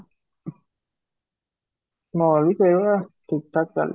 ମୋରବି ସେଇ ଭଳିଆ ଠିକ ଠାକ ଚାଲିଛି